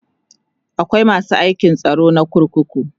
akwai masu aikin tsaro na kurkuku